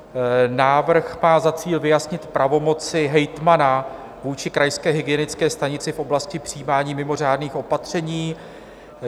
Návrh má za cíl vyjasnit pravomoci hejtmana vůči krajské hygienické stanici v oblasti přijímání mimořádných opatření.